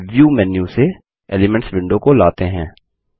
चलिए view menu से elements window को लाते हैं